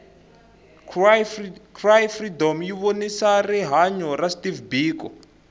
cry freedom yivonisa rihhanya ra steve biko